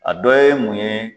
A dɔ ye mun ye